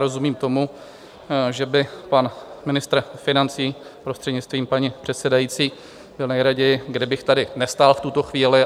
Rozumím tomu, že by pan ministr financí, prostřednictvím paní předsedající, byl nejraději, kdybych tady nestál v tuto chvíli.